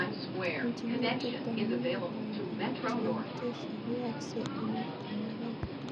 congenital pulmonary lymphangiectasia koyaakse eng' oratinwek aeng'